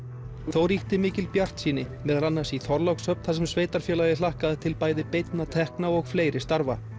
þó ríkti mikil bjartsýni meðal annars í Þorlákshöfn þar sem sveitarfélagið hlakkaði til bæði beinna tekna og fleiri starfa